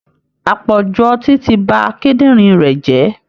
Àpọ̀jù ọtí ti ba kíndìnrín rẹ̀ jẹ́